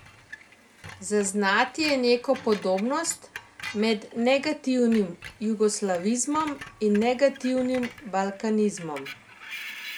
Zaznati je neko podobnost med negativnim jugoslavizmom in negativnim balkanizmom.